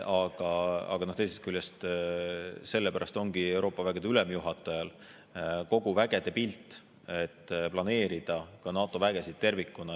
Aga teisest küljest, sellepärast ongi Euroopa vägede ülemjuhatajal kogu vägede pilt, et planeerida ka NATO vägesid tervikuna.